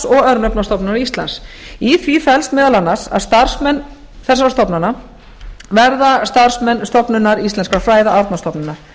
og örnefnastofnunar íslands í því felst meðal annars að starfsmenn þessara stofnana verða starfsmenn stofnunar íslenskra fræða árnastofnunar